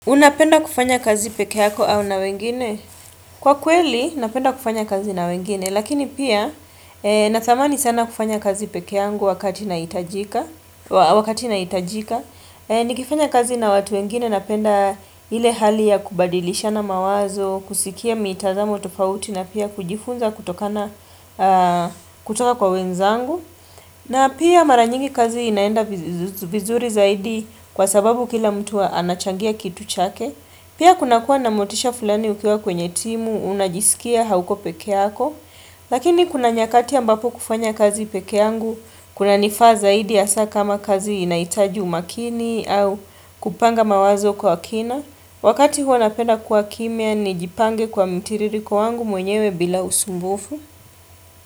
Unapenda kufanya kazi peke yako au na wengine? Kwa kweli, napenda kufanya kazi na wengine. Lakini pia, na thamani sana kufanya kazi peke yangu wakati na itajika. Nikifanya kazi na watu wengine napenda ile hali ya kubadilisha na mawazo, kusikia mitazamo tofauti na pia kujifunza kutoka kwa wenzangu. Na pia maranyingi kazi inaenda vizuri zaidi kwa sababu kila mtu anachangia kitu chake. Pia kuna kuwa namotisha fulani ukiwa kwenye timu, unajisikia, hauko pekeako. Lakini kuna nyakati ambapo kufanya kazi pekeangu, kuna nifa zaidi asa kama kazi inaitaji umakini au kupanga mawazo kwa kina. Wakati huo napenda kua kimia, nijipange kwa mtiririko wangu mwenyewe bila usumbufu.